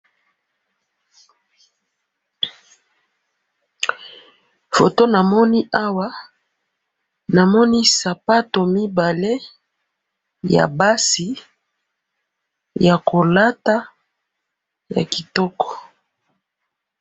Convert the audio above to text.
photo namoni awa namoni sapato mibale ya basi ya kolata ya kitoko